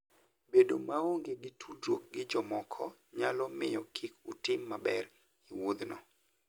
Bedo maonge gi tudruok gi jomoko nyalo miyo kik utim maber e wuodhno.